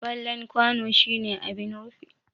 Fallen kwano shine abin rufi.